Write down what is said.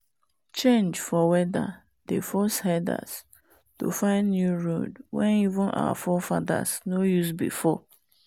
change for weather dey force herders to find new road wen even our forefather nor use before.